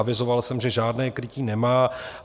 Avizoval jsem, že žádné krytí nemá.